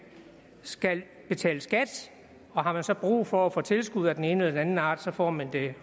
skal betale skat og har man så brug for at få tilskud af den ene eller den anden art får man det